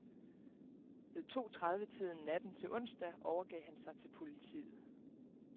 Ved to tredive tiden natten til onsdag overgav han sig til politiet.